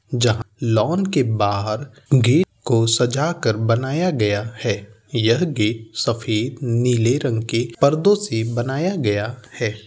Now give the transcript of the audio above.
जहाँ लॉन के बाहर गेट को सजा कर बनाया गया है। यह गेट सफेद नीले रंग के पर्दो से बनाया गया है ।